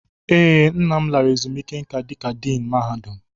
Ee, nna lara ezumiike nka dika Diin mahadum.